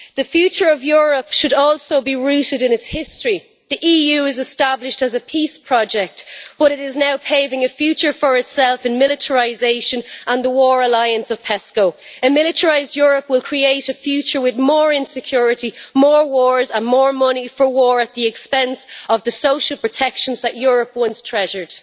The future of Europe should also be rooted in its history. The EU was established as a peace project but it is now paving a future for itself in militarisation and the war alliance of Permanent Structured Cooperation on security and defence. A militarised Europe will create a future with more insecurity, more wars and more money for war, at the expense of the social protections that Europe once treasured.